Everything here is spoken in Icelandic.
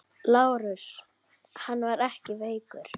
LÁRUS: Hann er ekkert veikur.